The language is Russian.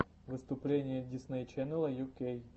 выступление дисней ченнела ю кей